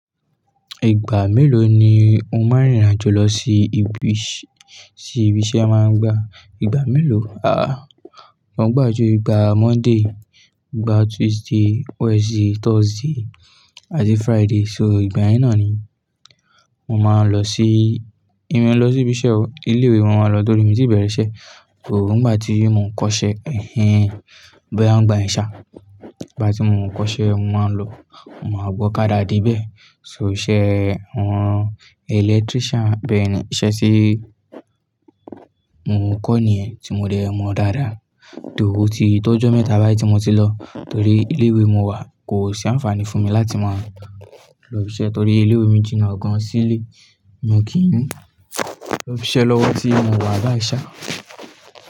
Ìgbà mélòó ni o máa ń rìn irìnàjò lọ sí ibi, sí ibi isẹ e máa ń gba ìgbà mélòó? Wọ́n gbà ju ìgbà Monday, ìgbà Tuesday, Wednesday, Thursday àti Friday. So ìgbà yẹn náà ni mo máa ń lọ sí, èmi e lọ sí ibi iṣẹ́ o. Ilé ìwé mo máa ń lọ torí mi n tì bẹ̀rẹ̀ iṣẹ́. Òun ìgbà tí mo ń kọ́ṣẹ́, ẹ́hn e, boya ń gbà yẹ́n ṣá. Ìgbà tí mo ń kọ́ṣẹ́, mo máa ń lọ, mo máa gun okádá de ibẹ́. So iṣẹ́ àwọn electrician bẹ́yẹ̀n ni, iṣẹ́ tí mo ń kọ́ nìyẹn tí mo dẹ mọ dáadáa though ó ti tọ́jọ́ mẹ́ta báyìí tí mo ti lọ. Torí ilé ìwé mo wà kò sí àǹfààní fún mi láti máa lọ ibi iṣẹ́ torí ilé ìwé mi jìnnà gàn sílé, mo kì í lọ ibi iṣẹ́ lọ́wọ́ tí mo wà báyìí ṣá.